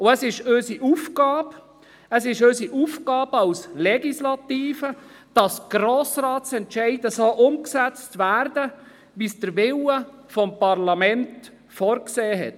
Es ist Aufgabe als Legislative, dass Entscheide des Grossen Rates so umgesetzt werden, wie es der Wille des Parlaments vorgesehen hat.